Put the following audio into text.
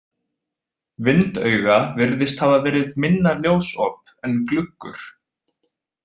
Vindauga virðist hafa verið minna ljósop en gluggur.